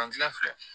Fan gila filɛ